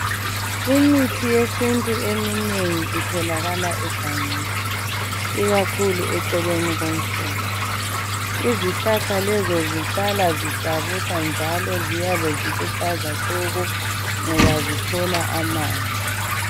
Imithi yesintu eminengi itholakala egangeni ikakhulu eceleni komfula. Izihlahla lezo zihlala zihlabusa njalo ziyabe ziluhlaza tshoko ngoba zithola amanzi.